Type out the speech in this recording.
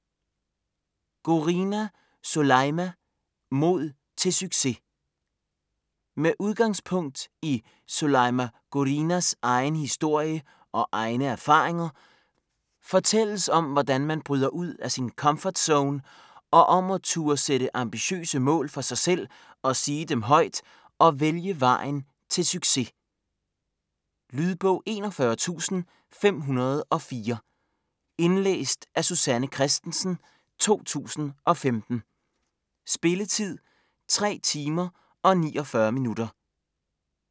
Gourani, Soulaima: Mod til succes Med udgangspunkt i Soulaima Gouranis egen historie og egne erfaringer fortælles om hvordan man bryder ud af sin komfortzone og om at turde sætte ambitiøse mål for sig selv og sige dem højt og vælge vejen til succes. Lydbog 41504 Indlæst af Susanne Kristensen, 2015. Spilletid: 3 timer, 49 minutter.